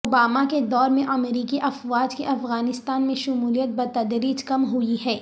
Obama کے دور میں امریکی افواج کی افغانستان میں شمولیت بتدریج کم ہوئی ہے